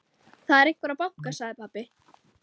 Það er einhver að banka, sagði pabbi.